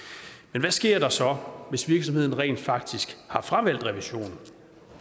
men hvad sker der så hvis virksomheden rent faktisk har fravalgt revision